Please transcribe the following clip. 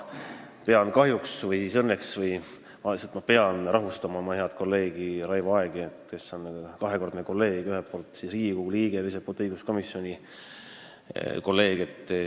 Ma pean kahjuks või siis õnneks rahustama Raivo Aegi, kes on minu kahekordne hea kolleeg: ühelt poolt Riigikogu liige, teiselt poolt kolleeg õiguskomisjonis.